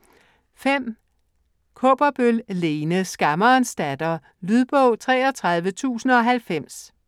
Kaaberbøl, Lene: Skammerens datter Lydbog 33090